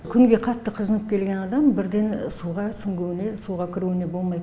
күнге қатты қызынып келген адам бірден суға сүңгуіне суға кіруіне болмайды